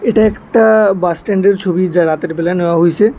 এটা একটা বাস স্ট্যান্ডের ছবি যা রাতের বেলা নেওয়া হইসে।